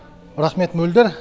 рахмет мөлдір